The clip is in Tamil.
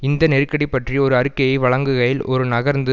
இந்த நெருக்கடி பற்றி ஒரு அறிக்கையை வழங்குகையில் ஒரு நகர்ந்து